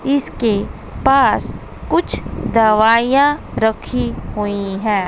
इसके पास कुछ दवाइयां रखी हुई हैं।